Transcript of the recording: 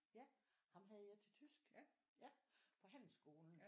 Ja ham havde jeg til tysk på handelsskolen